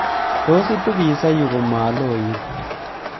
Tos itu pisa yuu komaloit